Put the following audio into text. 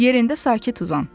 Yerində sakit uzan.